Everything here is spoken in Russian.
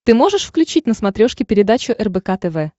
ты можешь включить на смотрешке передачу рбк тв